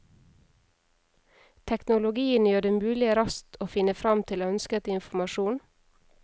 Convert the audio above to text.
Teknologien gjør det mulig raskt å finne frem til ønsket informasjon.